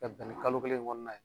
Ka bɛn ni kalo kelen in kɔnɔna ye